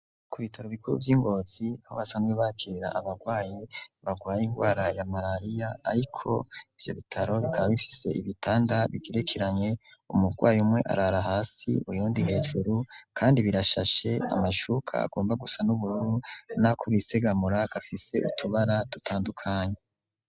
Ku bitaro bikuru vy'ingozi aho basanzwe bakira abarwayi barwaye ingwara ya malaliya ariko ivyo bitaro bikaba bifise ibitanda bigerekeranye umurwayi umwe arara hasi uyundi hejuru kandi birashashe amashuka agomba gusa n'ubururu n'akubisegamura gafise utubara dutandukanye.